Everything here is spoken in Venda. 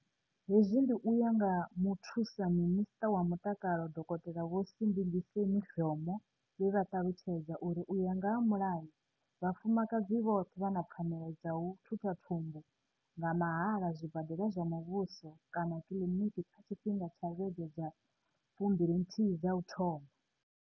Hezwi ndi u ya nga Muthusa Minisṱa wa Mutakalo Dokotela Vho Sibingiseni Dhlomo, vhe vha ṱalutshedza uri u ya nga mulayo, vhafumakadzi vhoṱhe vha na pfanelo dza u thutha thumbu nga mahala kha zwibadela zwa muvhuso kana kiḽiniki kha tshi fhinga tsha vhege dza 12 dza u thoma.